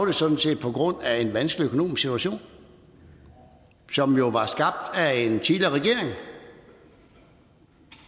det sådan set på grund af en vanskelig økonomisk situation som jo var skabt af en tidligere regering